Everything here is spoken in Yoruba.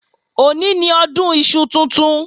Òní ni Ọdún iṣu tuntun